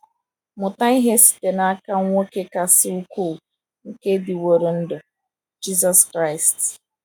Mụta ihe site n’aka nwoke kasị ukwuu nke dịworo ndụ — Jisọs Kraịst.